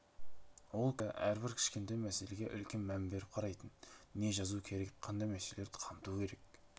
ол кісі әрбір кішкентай мәселеге үлкен мән беріп қарайтын не жазу керек қандай мәселелерді қамту керек